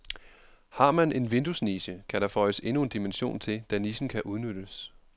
Har man en vinduesniche, kan der føjes endnu en dimension til, da nichen kan udnyttes.